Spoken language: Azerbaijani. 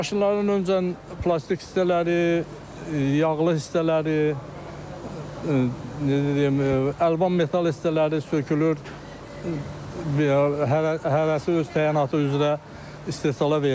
Maşınlardan öncə plastik hissələri, yağlı hissələri, necə deyim, əlvan metal hissələri sökülür, hərəsi öz təyinatı üzrə istehsala verilir.